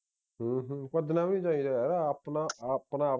ਹੂ ਹੂ ਭੱਜਣਾ ਵੀ ਨਹੀਂ ਚਾਹੀਦਾ ਹੈ ਯਾਰ ਆਪਣਾ ਆਪਣਾ